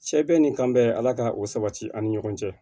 Sɛ bɛ ni kan bɛ ala ka o sabati an ni ɲɔgɔn cɛ